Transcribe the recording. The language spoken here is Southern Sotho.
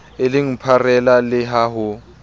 eleng pharela le ha ho